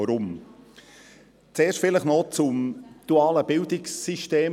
Weshalb? – Zuerst vielleicht zum dualen Bildungssystem.